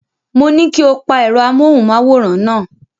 Mo ní kí o pa ẹ̀rọ amóhùnmáwòrán náà.